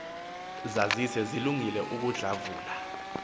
zazise zilungele ukudlavula